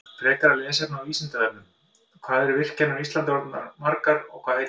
Frekara lesefni á Vísindavefnum: Hvað eru virkjanir á Íslandi margar og hvað heita þær?